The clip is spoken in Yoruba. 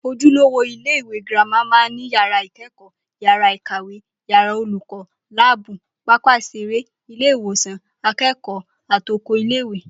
Ojúlówó ilé-ìwé girama máa ń ní yàrá ìké̩kò̩ó̩, yàrá ìkàwé, yàrá olùkó̩, láàbù, pápá ìs̩eré, ilé-ìwò̩sàn aké̩kò̩ó̩ àtokò ilé-ìwé